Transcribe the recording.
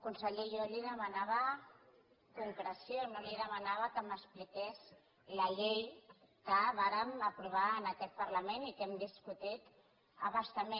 conseller jo li demanava concreció no li demanava que m’expliqués la llei que vàrem aprovar en aquest parlament i que hem discutit a bastament